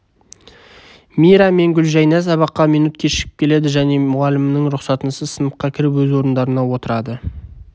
мира және гүлжайна сабаққа минут кешігіп келеді және мұғалімнің рұқсатынсыз сыныпқа кіріп өз орындарына отырады